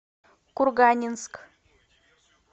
курганинск